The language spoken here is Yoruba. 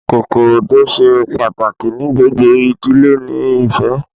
Kọ́kọ́rọ́ tó ṣe pàtàkì ní gbogbo ìdílé ni ìfẹ́